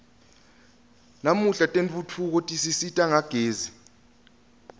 namuhla tentfutfuko tisisita ngagezi